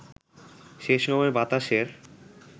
সেসময় বাতাসের